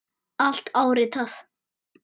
Allt áritað.